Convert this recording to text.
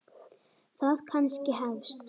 Það kannski hefst.